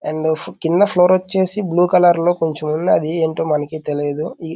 కింద ఫ్లోర్ వచ్చేసి blue colour లో కొంచెం ఉన్నది. అది ఏంటో మనకి తెలీదు ఈ --